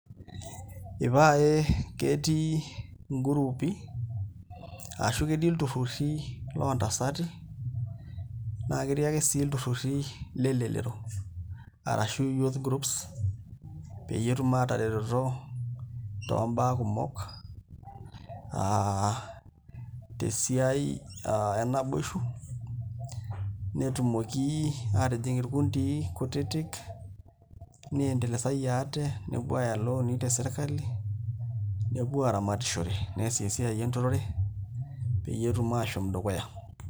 Ipae ketii inguruupi ashu ketii ilturruri loontasati naa ketii ake sii ilturruri lelelero arashu youth groups peyie etum aataretoto toombaa kumok aa tesiai aa enaboishu netumoki aatijing' irkundii kutitik miendelesai ate aaya ilooni tesirkali nepuo aaramatishore nees esiaienturore pee etum aashom dukuya.